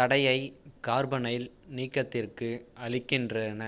தடையை கார்பனைல் நீக்கத்திற்கு அளிக்கின்றன